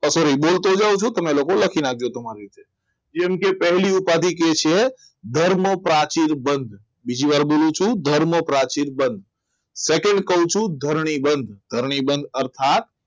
sorry બોલતો જઉં છું તમે લખી નાખજો તમારી રીતે જેમ કે પહેલી ઉપાધિ કહે છે. ધર્મ પ્રાચીન બંધ બીજી વાર બોલું છું ધર્મ પ્રાચીન બંધ second કહું છું ધરણી બંધ ધરણી બંધ અર્થાત